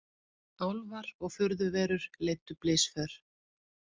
Álfar og furðuverur leiddu blysför